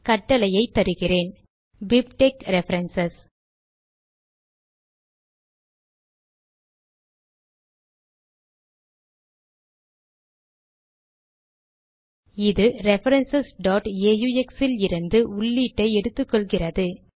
கட்டளையை தருகிறேன் - BibTeX reference இது ரெஃபரன்ஸ் aux இலிருந்து உள்ளீட்டை எடுத்துக்கொள்கிறது